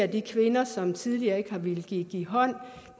de kvinder som tidligere ikke har villet give give hånd nu